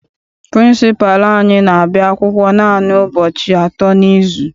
Pịrịnsịpalụ anyị n'abia akwụkwọ naanị ụbọchị atọ n'izu.